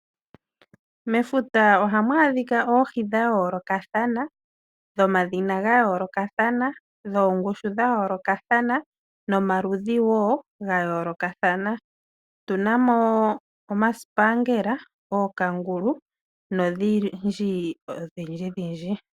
Mefuta ohamu adhika oohi dha yoolokathana, dhomadhina ga yoolokathana, dhoongushu dha yoolokathana, nomaludhi wo ga yoolokathana. Otuna mo omasipangela, ookangulu nodhindjidhindji.